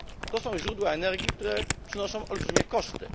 To są źródła energii, które generują olbrzymie koszty.